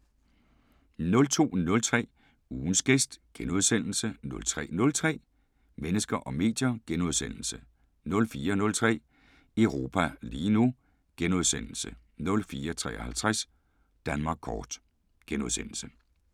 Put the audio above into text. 02:03: Ugens gæst * 03:03: Mennesker og medier * 04:03: Europa lige nu * 04:53: Danmark kort *